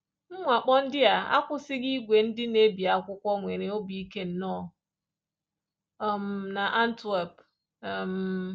Mwakpo ndị a akwụsịghị ìgwè ndị na-ebi akwụkwọ nwere obi ike nọ um n’Antwerp. um